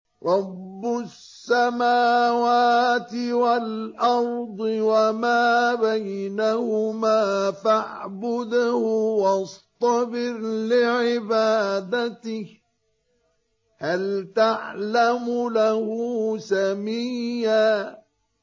رَّبُّ السَّمَاوَاتِ وَالْأَرْضِ وَمَا بَيْنَهُمَا فَاعْبُدْهُ وَاصْطَبِرْ لِعِبَادَتِهِ ۚ هَلْ تَعْلَمُ لَهُ سَمِيًّا